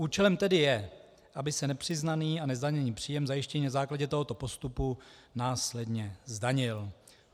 Účelem tedy je, aby se nepřiznaný a nezdaněný příjem zjištěný na základě tohoto postupu následně zdanil.